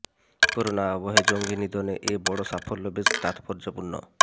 corona আবহে জঙ্গি নিধনে এই বড় সাফল্য বেশ তাৎপর্যপূর্ণ